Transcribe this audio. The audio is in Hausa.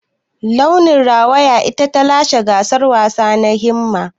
Launi rawaya ita ta lashe gasar wasa na Himma.